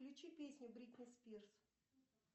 включи песни бритни спирс